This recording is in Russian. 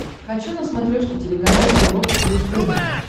хочу на смотрешке телеканал европа плюс тв